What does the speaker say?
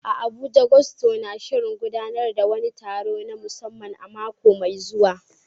A Abuja, Gusto na shirin gudanar da wani taro na musamman a mako mai zuwa.